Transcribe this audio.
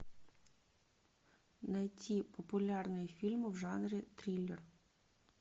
найти популярные фильмы в жанре триллер